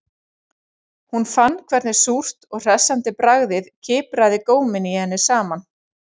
Hún fann hvernig súrt og hressandi bragðið kipraði góminn í henni saman